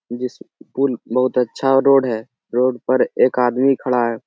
जिस पूल बहुत अच्छा रोड है। रोड पर एक आदमी खड़ा है।